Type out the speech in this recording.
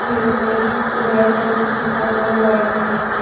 Eight heights जो red colour पे लिखा हुआ है व्हाइट कलर से।